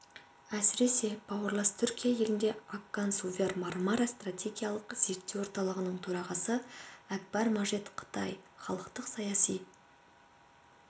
әсіресе бауырлас түркия елінде аккан сувер мармара стратегиялық зерттеу орталығының төрағасы әкбар мәжит қытай халықтық саяси